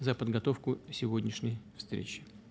за подготовку сегодняшней встречи